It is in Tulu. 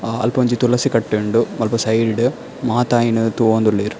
ಅಹ್ ಅಲ್ಪೊಂಜಿ ತುಲಸಿ ಕಟ್ಟೆ ಉಂಡು ಮುಲ್ಪ ಸೈಡ್ ಡ್ ಮಾತ ಅಯಿನ್ ತೂವೊಂದುಲ್ಲೆರ್.